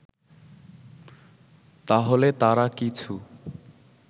তাহলে তারা কিছু